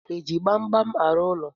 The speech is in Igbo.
Eji gbamgbam arụ ụlọ?